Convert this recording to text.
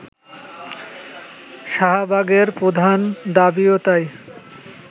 শাহবাগের প্রধান দাবিও তাই